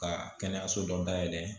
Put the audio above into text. Ka kɛnɛyaso dɔ dayɛlɛ